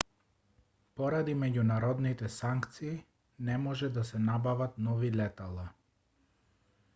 поради меѓународните санкции не може да се набават нови летала